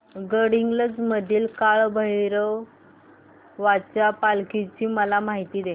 गडहिंग्लज मधील काळभैरवाच्या पालखीची मला माहिती दे